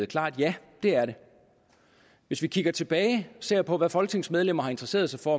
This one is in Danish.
klart ja det er det hvis vi kigger tilbage og ser på hvad folketingsmedlemmer har interesseret sig for